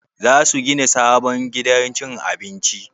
Za su gina sabon gidan cin abinci?